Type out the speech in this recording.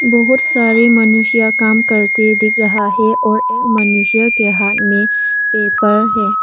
बहुत सारे मनुष्य काम करते दिख रहा है और एक मनुष्य के हाथ में पेपर है।